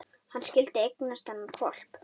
Hann skyldi eignast þennan hvolp!